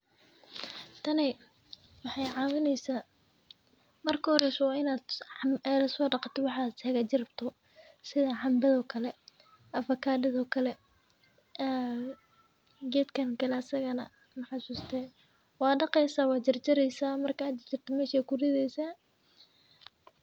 Tani waxey caawineysa marka uhoreyso waa in aad sodaqato waxaad hagaajin rabto sidha cambad oo kel avacadad oo kale gedkan kale asagana maxasuuste waad daqeysa wad jarjareysa markad jarjarto mesh aad kuridheysa.